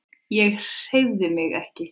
Ég hreyfði mig ekki.